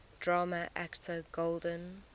drama actor golden